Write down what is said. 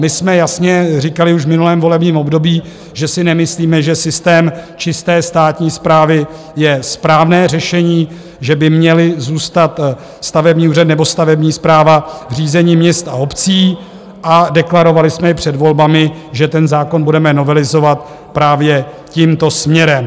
My jsme jasně říkali už v minulém volebním období, že si nemyslíme, že systém čisté státní správy je správné řešení, že by měly zůstat stavební úřady nebo stavební správa v řízení měst a obcí, a deklarovali jsme i před volbami, že ten zákon budeme novelizovat právě tímto směrem.